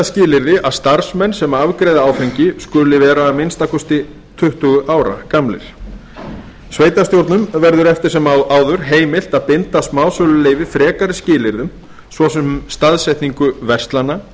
skilyrði að starfsmenn sem afgreiða áfengi skuli vera að minnsta kosti tuttugu ára gamlir sveitarstjórnum verður eftir sem áður heimilt að binda smásöluleyfi frekari skilyrðum svo sem staðsetningu verslana